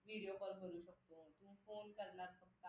video call करू शिकतो phone करणार फक्त